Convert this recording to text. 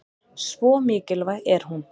Svo mikilvæg er hún.